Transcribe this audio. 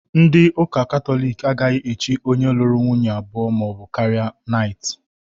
Ndị ụ́kà Kataloki agaghị èchí onye lụrụ nwunye abụọ maọbụ karịa naịtị.